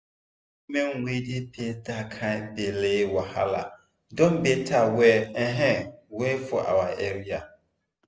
help for women wey dey face that kind belle wahala don better well um well for our area